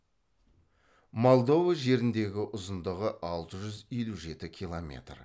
молдова жеріндегі ұзындығы алты жүз елу жеті километр